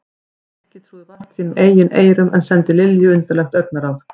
Nikki trúði vart sínum eigin eyrum en sendi Lilju undarlegt augnaráð.